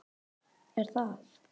er það?